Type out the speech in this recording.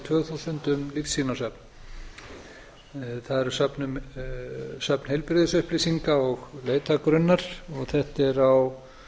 tvö þúsund um lífsýnasöfn það er söfn heilbrigðisupplýsinga og leitargrunn þetta er á